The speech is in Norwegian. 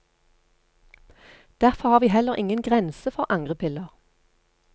Derfor har vi heller ingen grense for angrepiller.